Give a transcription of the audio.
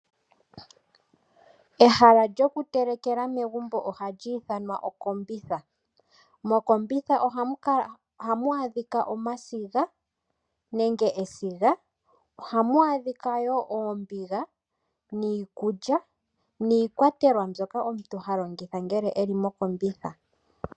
Ehala lyoku telekela megumbo ohali ithanwa Okombitha. Mokombitha ohamu adhika omasiga nenge esiga, ohamu adhika wo oombiga, niikulya niikwatelwa mbyoka omuntu ha longitha ngele eli mo kombitha.